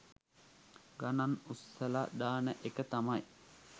ගණන් උස්සලා දාන එක තමයි